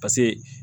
Paseke